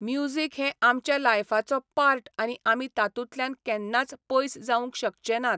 Music हें आमच्या लायफाचो पार्ट आनी आमी तातूंतल्यान केन्नाच पयस जावूंक शकचे नात.